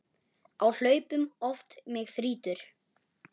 Á hlaupum oft mig þrýtur.